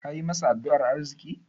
Kayi masa addu'an arziƙi?